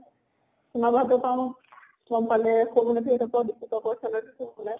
মই ভাবো কাৰণ গম পালে পৰাও পইছা লৈ থৈছে বুলে।